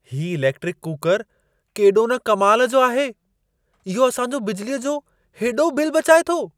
हीउ electric cooker केॾो न कमाल जो आहे। इहो असां जो बिजलीअ जो हेॾो बिल बचाए थो।